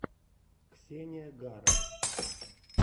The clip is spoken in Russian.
ксения гара